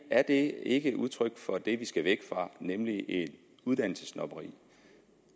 er det ikke udtryk for det vi skal væk fra nemlig et uddannelsessnobberi